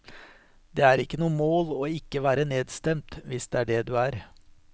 Det er ikke noe mål å ikke være nedstemt, hvis det er det du er.